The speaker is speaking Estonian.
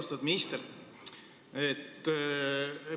Austatud minister!